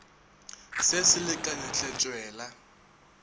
se se lekane hle tšwela